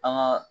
An ka